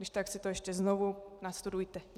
Když tak si to ještě znovu nastudujte.